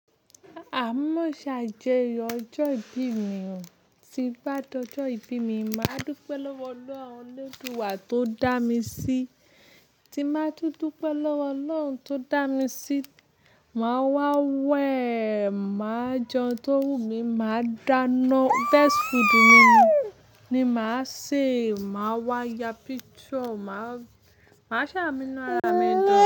Àá mọ́ maa n ṣe ajoyọ̀ ọjọ́ ìbí mi ò. Tí n bá d'ọjọ́ ìbí mi, màá dúpe lọ́wọ́ Ọlọ́run elduwà tó dá mi sí. Tí n bàá tún dupé lọ́wọ́ Ọlọ́run tó dá mi sí, màá wá wẹ̀, màá jẹun tó wù mí, màá dáná, best food mi ni màá ṣe, màá wá ya picture, màá, màá ṣà munu ara mi dun.